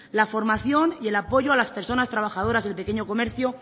la formación y el apoyo a las personas trabajadoras del pequeño comercio